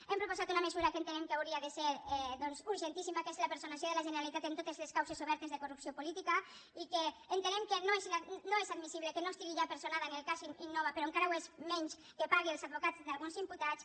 hem proposat una mesura que entenem que hauria de ser doncs urgentíssima que és la personació de la generalitat en totes les causes obertes de corrupció política i que entenem que no és admissible que no estigui ja personada en el cas innova però encara ho és menys que pagui els advocats d’alguns imputats